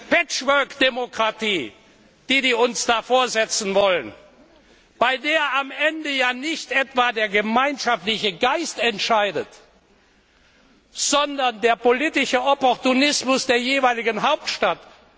Diese Patchwork Demokratie, die die uns da vorsetzen wollen, bei der am Ende ja nicht etwa der gemeinschaftliche Geist entscheidet, sondern der politische Opportunismus der jeweiligen Hauptstadt!